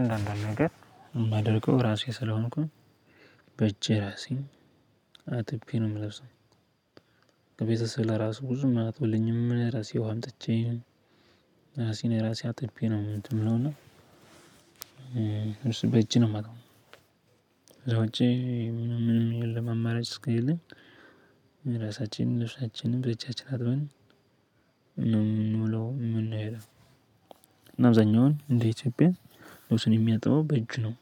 አንዳንድ ነገር የማደርገው ራሴ ስለሆንኩኝ በእጄ ራሴን አጥቤ ነው የምለብሰው። ከቤተሰብ ለራሱ ብዙ ለራሱ ብዙም አያጥብሉኝም ራሴ ውሃ አምጥቼ ራሴን ራሴ አጥቤ ነው ምንድነው እና ልብስ በእጄ ነው የመጥበው ከዛ ውጭ ሌላ አመራጭ እስከለለኝ የራሳችን ልብሰችንን በእጃችን አጥበን ነው የምንውለው። አብዛኛውን እንደ ኢትዮጵያ ልብስ የምያጥበው በእጁ ነው።